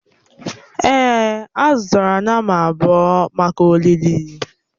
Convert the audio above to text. Èè, a zụtara nnama abụọ maka olili.